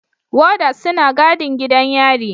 Warders suna gadin gidan yarin.